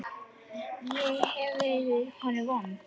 Ég hef verið honum vond.